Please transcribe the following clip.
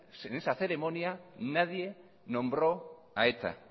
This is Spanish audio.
esa ceremonia nadie nombro a eta